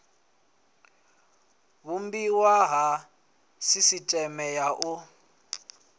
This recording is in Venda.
vhumbiwa ha sisiteme ya u